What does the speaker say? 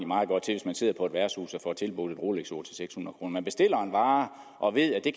meget godt til at man sidder på et værtshus og får tilbudt et rolexur til seks hundrede kroner man bestiller en vare og ved at det